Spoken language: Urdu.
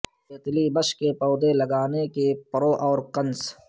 تیتلی بش کے پودے لگانے کے پرو اور کنس